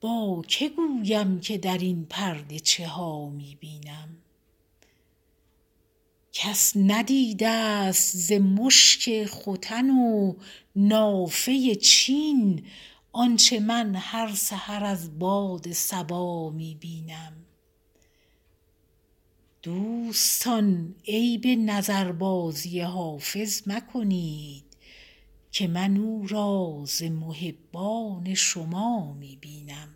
با که گویم که در این پرده چه ها می بینم کس ندیده ست ز مشک ختن و نافه چین آنچه من هر سحر از باد صبا می بینم دوستان عیب نظربازی حافظ مکنید که من او را ز محبان شما می بینم